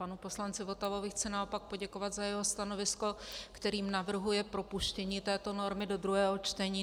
Panu poslanci Votavovi chci naopak poděkovat za jeho stanovisko, kterým navrhuje propuštění této normy do druhého čtení.